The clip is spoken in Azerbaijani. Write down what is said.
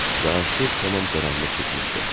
Və artıq tamam qaranlıq çökmüşdü.